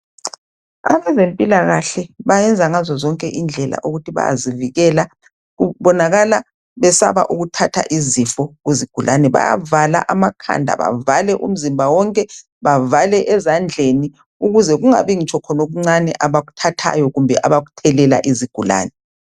Abezempilakahle bayenza ngazo zonke indlela ukuthi bayazivikela. Kubonakala besaba ukuthatha izifo kuzigulane. Bayavala amakhanda, bavale umzimba wonke ,bavale ezandleni ukuze kungabi ngitsho lokuncane abakuthathayo kumbe abakuthelela izigulane.